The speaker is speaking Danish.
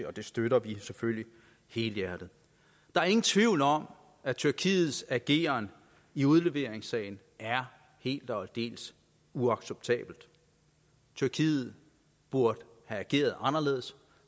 og vi støtter det selvfølgelig helhjertet der er ingen tvivl om at tyrkiets ageren i udleveringssagen er helt og aldeles uacceptabel tyrkiet burde have ageret anderledes